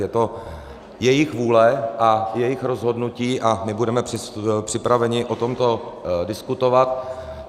Je to jejich vůle a jejich rozhodnutí a my budeme připraveni o tomto diskutovat.